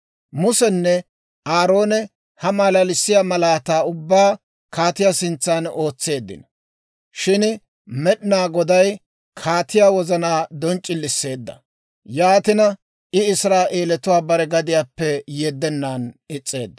Musenne Aaroone ha malalissiyaa malaataa ubbaa kaatiyaa sintsan ootseeddino; shin Med'inaa Goday kaatiyaa wozanaa donc'c'ilisseedda; yaatina I Israa'eelatuwaa bare gadiyaappe yeddennan is's'eedda.